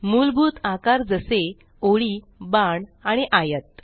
मुलभूत आकार जसे ओळी बाण आणि आयत